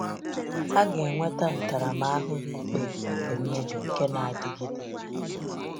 Ha “ga-enweta ntaramahụhụ ikpe nke mmebi nke na-adịgide.”